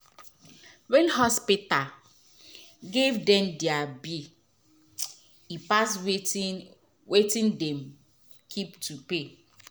wen hospita give dem deir bill e pass wetin wetin dem be keep to pay